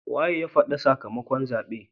Wa ya fadi sakamakon zaben?